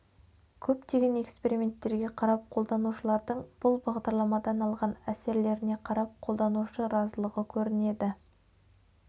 көптеген эксперементтерге қарап қолданушылардың бұл бағдарламадан алған әсерлеріне қарап қолданушы разылығы көрінеді